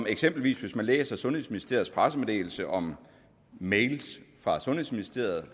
eksempelvis læser sundhedsministeriets pressemeddelelse om mails fra sundhedsministeriet